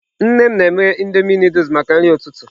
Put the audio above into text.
Nne m na-eme Indomie Nụdụls maka nri ụtụtụ.